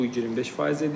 Bu 25% edir.